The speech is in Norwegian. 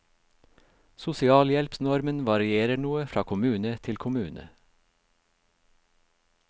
Sosialhjelpsnormen varierer noe fra kommune til kommune.